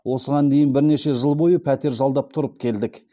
осыған дейін бірнеше жыл бойы пәтер жалдап тұрып келдік